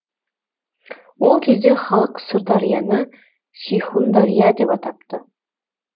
ол кезде халық сырдарияны сейхундария деп атапты